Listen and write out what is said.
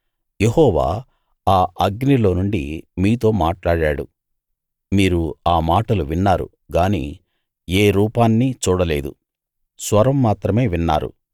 యెహోవా ఆ అగ్నిలో నుండి మీతో మాట్లాడాడు మీరు ఆ మాటలు విన్నారు గాని ఏ రూపాన్నీ చూడలేదు స్వరం మాత్రమే విన్నారు